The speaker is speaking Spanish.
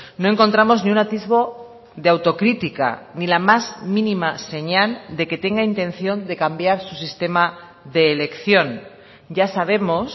no encontramos ni un atisbo de autocrítica ni la más mínima señal de que tenga intención de cambiar su sistema de elección ya sabemos